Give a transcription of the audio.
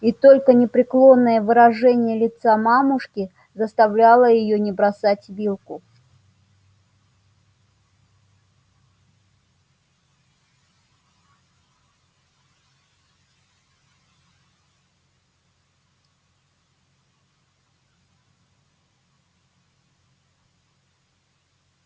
и только непреклонное выражение лица мамушки заставляло её не бросать вилку